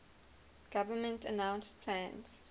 government announced plans